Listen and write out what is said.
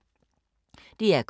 DR K